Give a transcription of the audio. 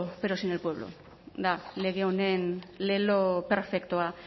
pero sin el pueblo da lege honen lelo perfektua